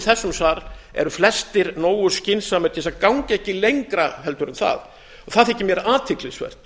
þessum sal eru flestir nógu skynsamir til þess ganga ekki lengra en það og það þykir mér athyglisvert